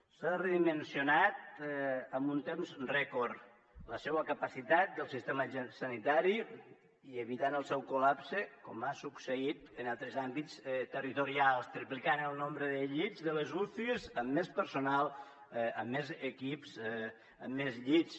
s’ha redimensionat en un temps rècord la capacitat del sistema sanitari i s’ha evitat el seu col·lapse com ha succeït en altres àmbits territorials en triplicar el nombre de llits de les ucis amb més personal amb més equips amb més llits